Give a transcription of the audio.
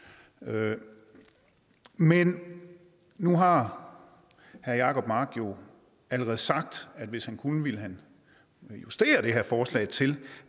løn men nu har herre jacob mark jo allerede sagt at hvis han kunne ville han justere det her forslag til